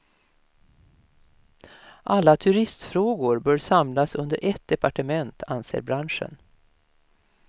Alla turistfrågor bör samlas under ett departement, anser branschen.